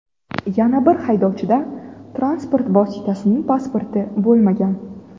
Yana bir haydovchida transport vositasining pasporti bo‘lmagan.